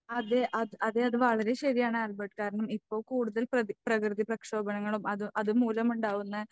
അതെ അത് അതെ അത് വളരെ ശരിയാണ് ആൽബർട്ട്. കാരണം ഇപ്പോൾ കൂടുതൽ പ്രതി പ്രകൃതി പ്രക്ഷോഭണങ്ങളും അത് അതുമൂലമുണ്ടാകുന്ന